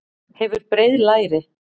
Hefur breið læri.